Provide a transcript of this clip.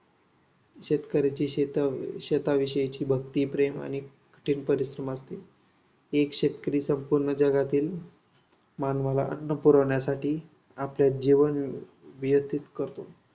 शेतकऱ्याची शेताशेताविषयची भक्ती, प्रेम आणि परिश्रम एक शेतकरी संपूर्ण जगातील मानवाला अन्न पुरवण्यासाठी आपले जीवन व्यतित करतो.